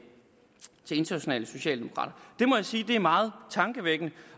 internationale socialdemokrater jeg må sige at det er meget tankevækkende